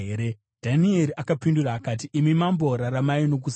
Dhanieri akapindura akati, “Imi mambo, raramai nokusingaperi!